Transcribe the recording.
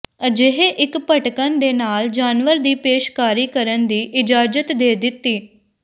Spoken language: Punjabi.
ਅਜਿਹੇ ਇੱਕ ਭਟਕਣ ਦੇ ਨਾਲ ਜਾਨਵਰ ਵੀ ਪੇਸ਼ਕਾਰੀ ਕਰਨ ਦੀ ਇਜਾਜ਼ਤ ਦੇ ਦਿੱਤੀ